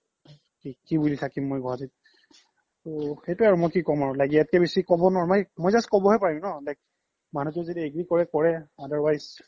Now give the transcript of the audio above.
কি বুলি থাকিম মই গুৱাহাতিত তৌ সেইতোয়ে আৰু মই কি ক্'ম আৰু ইয়াত কে বেছি ক্'ব নোৱাৰো মই just ক্'ব হে পাৰিম ন like মানুহতো যদি agree কৰে কৰে otherwise